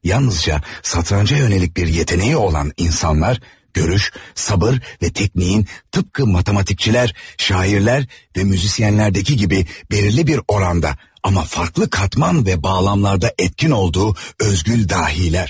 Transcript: Yalnızca şatranca yönəlik bir yeteneği olan insanlar görüş, sabır və tekniknin tıpkı matematikçiler, şairler və müzisyenlerdeki gibi belirli bir oranda, amma farklı katman və bağlamlarda etkin olduğu özgül dahiler.